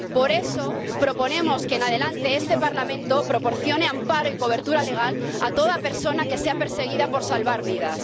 Por eso proponemos que, en adelante, este Parlamento proporcione amparo y cobertura legal a toda persona que sea perseguida por salvar vidas.